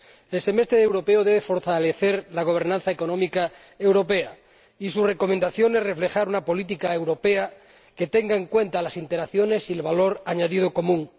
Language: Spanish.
El Semestre Europeo debe fortalecer la gobernanza económica europea, y su recomendación es reflejar una política europea que tenga en cuenta las interacciones y el valor añadido común.